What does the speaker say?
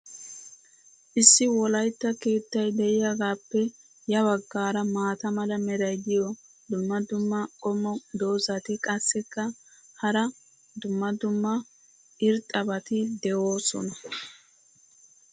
issi wolaytta keettay diyaagaappe ya bagaara maata mala meray diyo dumma dumma qommo dozzati qassikka hara dumma dumma irxxabati doosona.